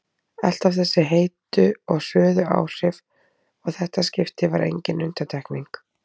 Alltaf þessi heitu og hröðu áhrif og þetta skipti var engin undantekning.